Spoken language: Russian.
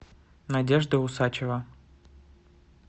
надежда усачева